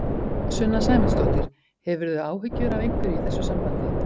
Sunna Sæmundsdóttir: Hefurðu áhyggjur af einhverju í þessu sambandi?